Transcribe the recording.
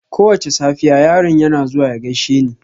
Kowace safiya, yaron yana zuwa ya gaishe ni.